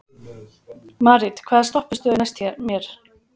Marit, hvaða stoppistöð er næst mér?